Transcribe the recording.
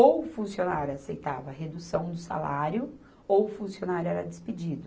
Ou o funcionário aceitava redução do salário ou o funcionário era despedido.